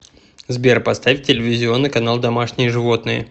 сбер поставь телевизионный канал домашние животные